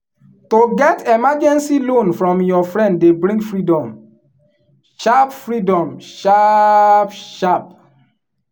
to get emergency loan from your friend dey bring freedom sharp freedom sharp sharp.